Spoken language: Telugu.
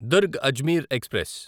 దుర్గ్ అజ్మీర్ ఎక్స్ప్రెస్